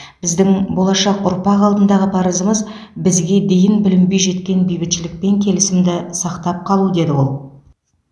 біздің болашақ ұрпақ алдындағы парызымыз бізге дейін бүлінбей жеткен бейбітшілік пен келісімді сақтап қалу деді ол